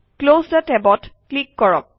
close থে tab অত click কৰক